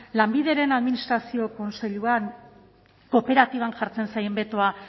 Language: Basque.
lanbideren administrazio kontseiluak kooperatiban jartzen zaien betoa